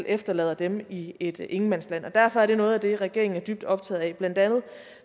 efterlader dem i et ingenmandsland derfor er det noget af det regeringen er dybt optaget af blandt andet